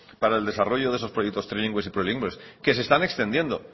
para el desarrollo de esos proyectos trilingües y plurilingües que se están extendiendo